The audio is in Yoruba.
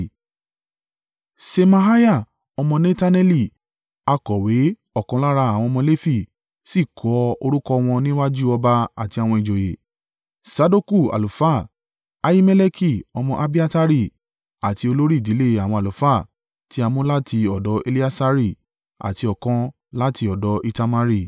Ṣemaiah ọmọ Netaneli, akọ̀wé ọ̀kan lára àwọn ọmọ Lefi sì kọ orúkọ wọn níwájú ọba àti àwọn ìjòyè: Sadoku àlùfáà, Ahimeleki ọmọ Abiatari àti olórí ìdílé àwọn àlùfáà tí a mú láti ọ̀dọ̀ Eleasari àti ọ̀kan láti ọ̀dọ̀ Itamari.